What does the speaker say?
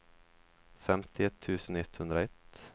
femtioett tusen etthundraett